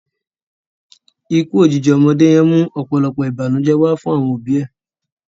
Ikú òjijì ọmọdé yẹn mú ọ̀pọ̀lọpọ̀ ìbànújẹ́ wá fún àwọn òbi ẹ̀